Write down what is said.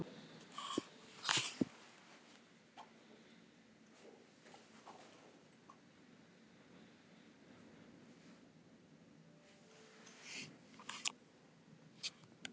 Í munnvatnskirtlum geta bæði verið bráðar og hægfara bólgur og góðkynja og illkynja æxli.